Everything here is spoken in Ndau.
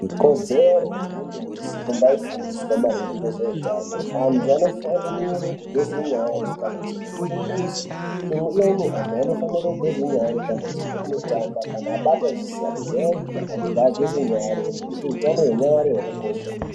Ikodzero yemuntu vese kumbaifundiswa maringe ngezveutano antu anofanire kugeze nyare kana achibve kuchimbuzi. Amweni vantu vanofanire kugeze nyare kana achibva kunotamba kana abata zvisina kujairika antu ngageze nyare nekuti hutano hwenyare hwakakosha.